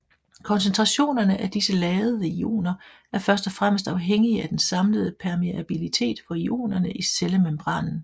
Koncentrationerne af disse ladede ioner er først og fremmest afhængige af den samlede permeabilitet for ionerne i cellemembranen